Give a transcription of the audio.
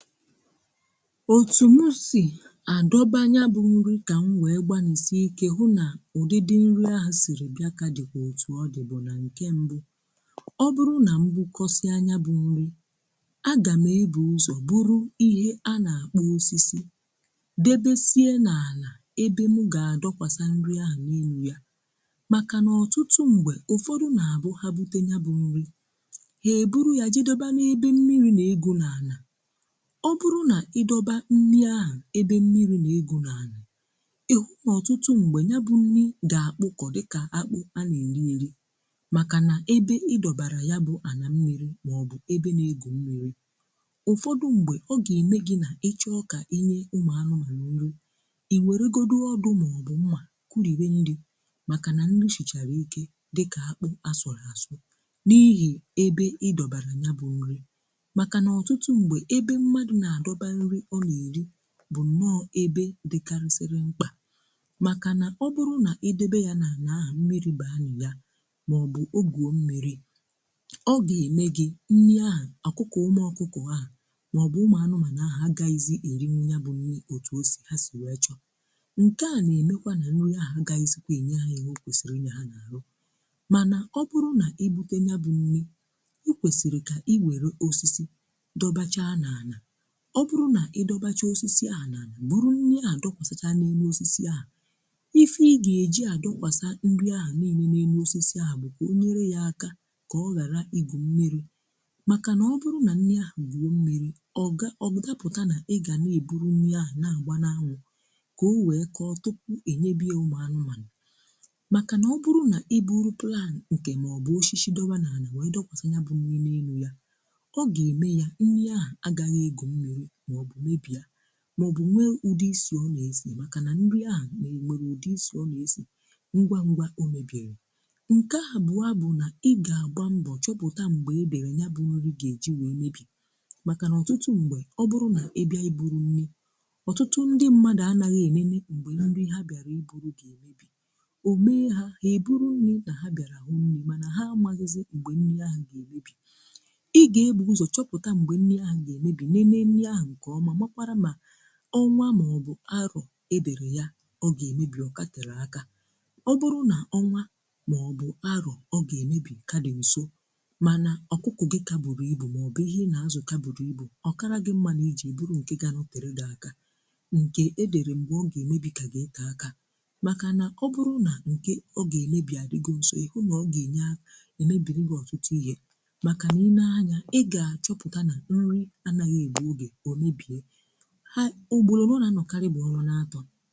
Ótū mụ si a dọba nyabụ nri ka m wee gbalịsie ike hụ́ na ụdịdị nri ahụ siri bịa ka dịkwa ótù ọ dịbu na nke mbụ. Ọ bụrụ na m bukọsịa nyabụ nri, a ga m ebu ụzọ buru ihe a na-akpọ osisi debesie n'ala ebe m ga-adọkwasa nri ahụ niile. Maka na ọtụtụ mgbe, ụfọdụ na-abụ ha bute nya bụ nri, ha e buru ya je doba ebe mmiri na-egwu n'ala. Ọ bụrụ na ị dọba nri aha ebe mmiri na-egwu n'ala, ị hụ na ọtụtụ mgbe nya bụ nri ga-akpụkọ dịka akpụ a na-eri eri maka na ebe ị dọbara ya bụ ala mmiri maọbụ ebe na-egwu mmiri. Ụfọdụ mgbe ọ ga-eme gị na ị chọọ ka i nye ụmụanụmanụ nri, i weregodi ọdụ maọbụ mma kuriwe nri maka na nri sichara ike ka akpụ a sụrụ a sụ n'ihi ebe ị dọbara nya bụ nri. Maka na ọtụtụ mgbe, ebe mmadụ na-adọba nri ọ na-eri bụ nnọọ ebe dịkarịsịrị mkpa. Maka na ọ bụrụ na i debe ya n'ala ahụ, mmiri baa na ya, maọbụ o gwuo mmiri, ọ ga-eme gị nri ahụ, ọkụkụ ụmụọkụkụ ahụ maọbụ ụmụanụmanụ ahụ agaghịzị erinwu nya bụ nri etu ha si wee chọọ. Nke a ga-emekwa na nriaha agaghịzịkwa e nye ha ihe o kwesiri i nye ha n'ahụ. Mana ọ bụrụ na-ebute nya bụ nri, i kwesịrị ka i were osisi dọbachaa n'ala. Ọ bụrụ na ị dọbachaa osisi ahụ n'ala, buru nri ahụ dọkwasachaa n'elu osisi ahụ, ife ị ga-eji adọkwasa nri ahụ niile n'elu osisi ahụ bụ ka o nyere ya aka ka ọ ghara i gwu mmiri. Maka na ọ bụrụ na nri ahụ gwuo mmiri, ọ da ọdapụta na ịga na-eburu nri ahụ na-agba n'anwụ, ka o wee kọọ tupuu e nyebe ya ụmụanụmanụ. Maka na ọ bụrụ na i buru plankị maọbụ osisi dọba n'ala wee dọkwasa nyabụ nri n'elu ya, ọ ga-eme ya nri ahụ agaghị egwu mmiri maọbụ mebie, maọbụ nwee ụdị isi ọ na-esi, maka na nri ahụ nwere ụdị isi ọ na-esi ngwa ngwa o mebiri. Nke abụọ bụ na ị ga-agba mbọ chọpụta mgbe e dere nya bụ nri ga-eji wee mebi. Maka na ọtụtụ mgbe, ọ bụrụ na ị bịa i buru nri, ọtụtụ ndị mmadụ anaghị e lele ụbọchị nri ha bịara i buru na-emebi. O mee ha, ha e buru nri na ha bịara hụ nri ma ha amaghịzị mgbe nri ahụ ga-emebi. Ị ga-ebu ụzọ chọpụta mgbe nri ahụ ga-emebi, lelee nri ahụ nke ọma, makwaara na ọnwa maọbụ arọ edere ya ọ ga-emebi ọ ka tere aka. Ọ bụrụ na ọnwa maọbụ arọ ọ ga-emebi ka dị nso, mana ọkụkụ gị ka buru ibu maọbụ ihe ị na-azụ ka buru ibu, ọ kara gị mma na i jee buru nke ga-anọtere gị aka nke e dere mgbe ọ ga-emebi ka ga-ete aka. Maka na ọ bụrụ na mgbe ọ ga-emebi a dịgo nso, ị hụ na ọ ga na-emebiri gị ọtụtụ ihe maka na i lee anya ị ga-achọpụta na nri anaghị egbu oge, o mebie. Ha ugboro ole ọ na-anọkarị bụ ọnwa n'atọ.